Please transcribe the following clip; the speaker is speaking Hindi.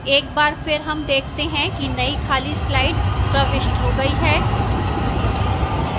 एक बार फिर हम देखते हैं कि नई खाली slide प्रविष्ट हो गई है